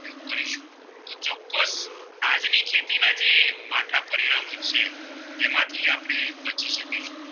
એમાંથી આપણે બચી શકીયે